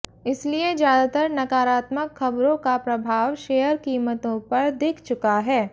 इसलिए ज्यादातर नकारात्मक खबरों का प्रभाव शेयर कीमतों पर दिख चुका है